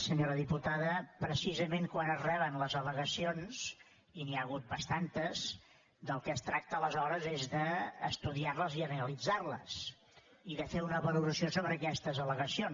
senyora diputada precisament quan es reben les al·legacions i n’hi ha hagut bastantes del que es tracta aleshores és d’estudiar les i analitzar les i de fer una valoració sobre aquestes allegacions